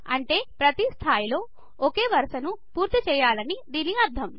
అంటే ప్రతి స్థాయిలో ఒకే వరసను పూర్తీ చెయ్యాలని దీని అర్థం